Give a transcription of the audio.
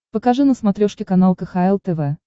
покажи на смотрешке канал кхл тв